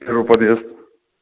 второй подъезд